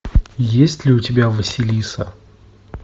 есть ли у тебя василиса